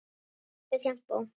Líka sjampó.